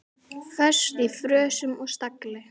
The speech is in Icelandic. Föst í frösum og stagli.